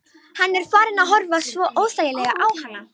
Hann er farinn að horfa svo óþægilega á hana.